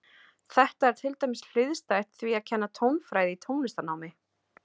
Þetta er til dæmis hliðstætt því að kenna tónfræði í tónlistarnámi.